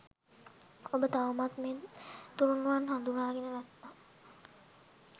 ඔබ තවමත් මේ තුනුරුවන් හඳුනාගෙන නැත්නම්